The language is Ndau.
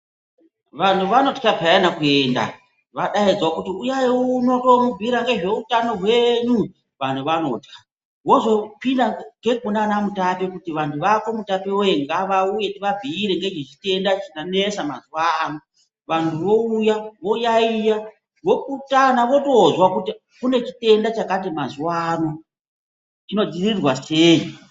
Vanhu vanotya peyani kuenda vadaidzwa kuti,"uyai uno toomubhuyira nezveutano hwenyu",vanhu vanotya wozokwira futi ngekuna ana Mutape kuti vanhu vako mutape woye ngavauye tivabhuyire nechitenda chanesa mazuwa ano vanhu vouya voyayiya, vopurutana votozwa kuti kune chitenda chakati mazuwa ano chinodzirirwa sei.